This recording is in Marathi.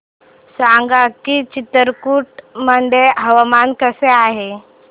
सांगा की चित्रकूट मध्ये हवामान कसे आहे